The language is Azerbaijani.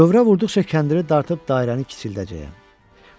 Dövrə vurduqca kəndiri dartıb dairəni kiçildəcəyəm.